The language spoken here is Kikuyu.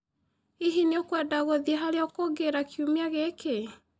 Hihi, nĩũnkwenda gũthie harĩ ũkũnguũĩri kiumia gĩkĩ?